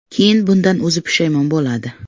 Keyin bundan o‘zi pushaymon bo‘ladi.